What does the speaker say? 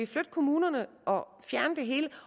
fra kommunerne og fjerne det hele